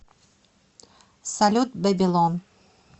салют бэбилон